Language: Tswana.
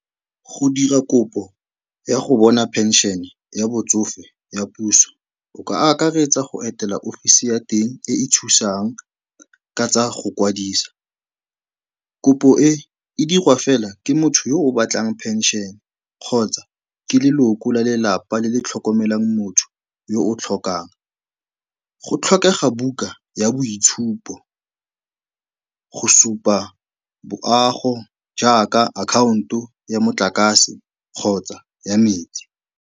Go dira kopo ya go bona pension-e ya botsofe ya puso, o ka akaretsa go etela ofisi ya teng e e thusang ka tsa go kwadisa. Kopo e e dirwa fela ke motho yo o batlang phenšene kgotsa ke leloko la lelapa le le tlhokomelang motho yo o tlhokang. Go tlhokega buka ya boitshupo, go supa boago jaaka akhaonto ya motlakase kgotsa ya metsi.